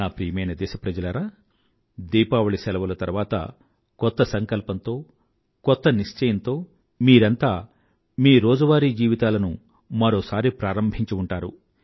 నా ప్రియమైన దేశప్రజలారా దీపావళి శెలవుల తరువాత కొత్త సంకల్పంతో కొత్త నిశ్చయంతో మీరంతా మీ రోజువారీ జీవితాలలో మరోసారి ప్రారంభించి ఉంటారు